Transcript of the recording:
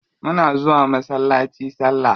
Muna zuwa masallaci salla.